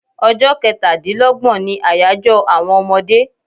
Ọjọ kẹ́tà dín lọ́gbọ̀n ní àyájọ àwọn ọmọdé